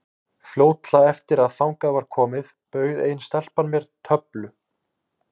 Fljótlega eftir að þangað var komið bauð ein stelpan mér töflu.